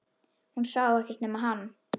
Hún sá ekkert nema hann!